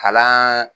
Kalan